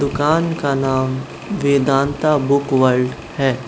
दुकान का नाम वेदांता बुक वर्ल्ड है।